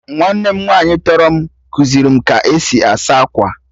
Nwanne m nwaanyị tọrọ m kuziri m ka-esi asa akwa